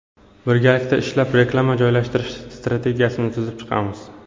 Birgalikda ishlab, reklama joylashtirish strategiyasini tuzib chiqamiz.